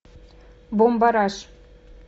бумбараш